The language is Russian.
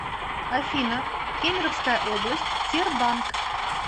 афина кемеровская область тербанк